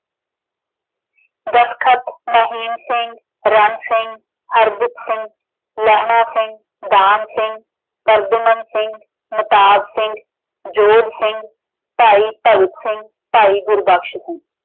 Mahim Singh, Ran Singh, , Hardukh Singh, Lehna Singh, Dan Singh, Sargunam Singh, Napad Singh, Yodh Singh, Bhai Bhagat Singh, Bhai Gurbakhsh Singh.